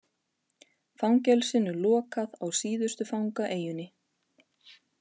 Fangelsinu lokað á síðustu fangaeyjunni